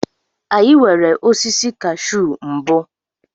Anyị nwere osisi kashu mbụ.